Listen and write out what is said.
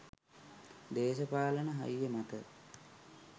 දේශපාලන හයිය මත